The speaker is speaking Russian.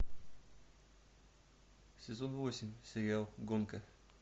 сезон восемь сериал гонка